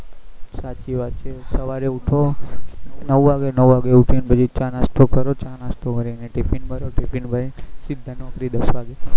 સાચી વાત છે સવારે ઉઠ્યો નવ વાગે નવ વાગે ઉઠીન પછી ચા નાસ્તો કરો ચા નાસ્તો કરી ને ટીફીન ભરો ટીફીન ભરીને સીધા નોકરી દસ વાગે